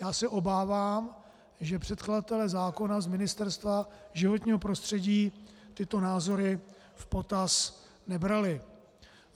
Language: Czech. Já se obávám, že předkladatelé zákona z Ministerstva životního prostředí tyto názory v potaz nebrali.